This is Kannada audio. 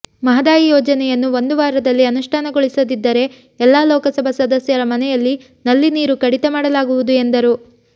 ಮಹದಾಯಿ ಯೋಜನೆಯನ್ನು ಒಂದು ವಾರದಲ್ಲಿ ಅನುಷ್ಠಾನಗೊಳಿಸದಿದ್ದರೆ ಎಲ್ಲಾ ಲೋಕಸಭಾ ಸದಸ್ಯರ ಮನೆಯ ನಲ್ಲಿ ನೀರು ಕಡಿತ ಮಾಡಲಾಗುವುದು ಎಂದರು